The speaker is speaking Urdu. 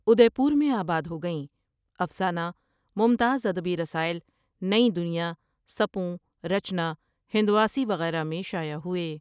ادیپور میں آباد ہو گئیں افسانہ ممتاز ادبی رسائل نئیں دنیا ، سپوں، رچنا، ہندواسی وغیرہ میں شائع ہوئے ۔